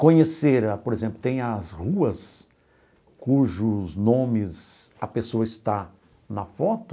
Conhecer a, por exemplo, tem as ruas cujos nomes a pessoa está na foto,